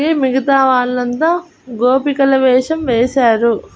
ఈ మిగతా వాళ్లంతా గోపికల వేషం వేశారు.